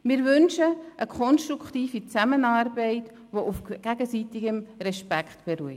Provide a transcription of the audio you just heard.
Wir wünschen uns eine konstruktive Zusammenarbeit, die auf gegenseitigem Respekt beruht.